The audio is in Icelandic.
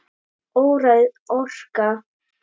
Óræð orka.